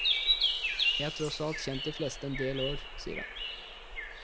Jeg har tross alt kjent de fleste en del år, sier han.